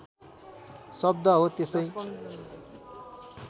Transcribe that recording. शब्द हो त्यसै